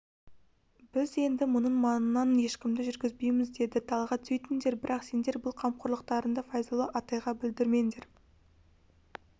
біз енді мұның маңынан ешкімді жүргізбейміз деді талғат сөйтіңдер бірақ сендер бұл қамқорлықтарыңды файзолла атайға білдірмеңдер